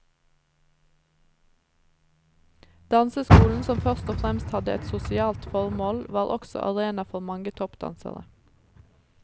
Danseskolen som først og fremst hadde et sosialt formål, var også arena for mange toppdansere.